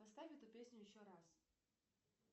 поставь эту песню еще раз